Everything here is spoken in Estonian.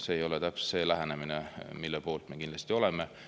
See kindlasti ei ole lähenemine, mille poolt me oleme.